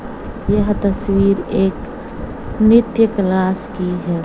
यह तस्वीर एक नृत्य क्लास की है।